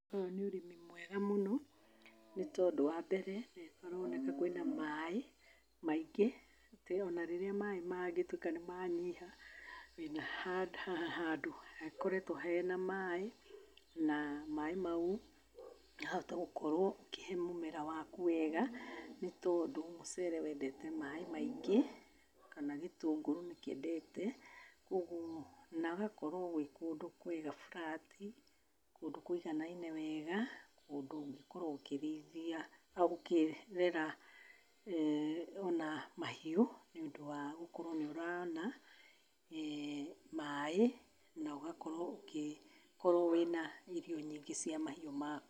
Ũyũ nĩ ũrĩmi mwega mũno, nĩ tondũ wambere nĩ kũroneka kwĩna maĩ, maingĩ. Atĩ ona rĩrĩa kũngĩtuĩka maĩ nĩ manyiha, wĩna handũ hakoretwo hena maĩ, na maĩ maũ makahota gũkorwo ũkĩhe mũmera waku wega, nĩ tondũ mũcere wendete maĩ maingĩ kana gĩtũngũru nĩ kĩendete. Koguo na gũgakorwo arĩ kũndũ kwega flat, kũndũ kũiganaine wega, kũndũ ũngĩkorwo ũkĩrĩithia, ũkĩrera ona mahiũ thutha wa gũkorwo nĩ ũrona maĩ, na ũgakorwo nĩ ũkĩona maĩ, na irio nyingĩ cia mahiũ waku.